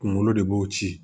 Kunkolo de b'o ci